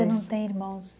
Então, você não tem irmãos?